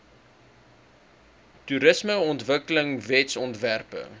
toerismeontwikkelingwetsontwerpe